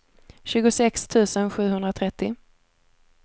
tjugosex tusen sjuhundratrettio